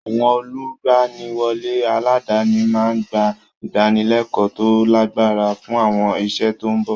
Àwọn olùgbaniwọlé aládàáni máa ń gba ìdánilẹ́kọ̀ọ́ tó lágbára fún àwọn iṣẹ́ tó ń bọ̀.